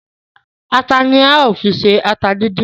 Ata ni a ó fi ṣe ata díndín